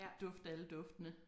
Dufte alle duftene